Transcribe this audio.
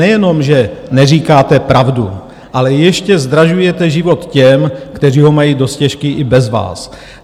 Nejenom, že neříkáte pravdu, ale ještě zdražujete život těm, kteří ho mají dost těžký i bez vás.